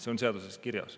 See on seaduses kirjas.